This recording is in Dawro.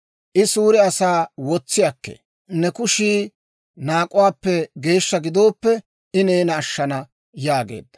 I suure asaa wotsi akkee. Ne kushii naak'uwaappe geeshsha gidooppe, I neena ashshana» yaageedda.